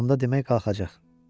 Onda demək qalxacaq.